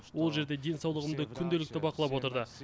ол жерде денсаулығымды күнделікті бақылап отырды